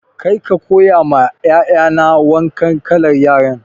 Kar ka koya ma 'ya'ya na wannan kalar yaren!